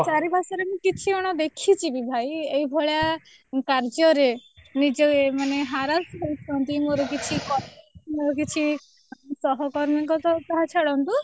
ଚାରି ବର୍ଷ ହେଲାଣି ମୁଁ କିଛି ଜଣ ଙ୍କୁ ଦେଖିଛି ଭାଇ ଏଇ ଭଳିଆ କାର୍ଯ୍ୟ ରେ ନିଜେ ମାନେ harass ପାଇଛନ୍ତି ମୋର କିଛି colleague ମୋର କିଛି ସହକର୍ମୀ ଙ୍କ କଥା ଛାଡ଼ନ୍ତୁ